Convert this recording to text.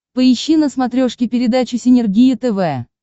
поищи на смотрешке передачу синергия тв